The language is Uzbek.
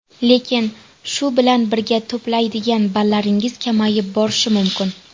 Lekin, shu bilan birga to‘playdigan ballaringiz kamayib borishi mumkin.